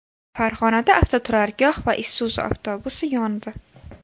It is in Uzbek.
Farg‘onada avtoturargoh va Isuzu avtobusi yondi.